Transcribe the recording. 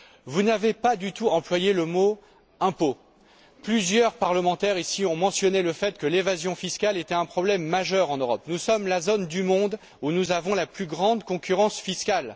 Vous n'avez pas du tout employé le mot impôt. Plusieurs parlementaires ici ont mentionné le fait que l'évasion fiscale était un problème majeur en Europe. Nous sommes la région du monde où nous avons la plus grande concurrence fiscale.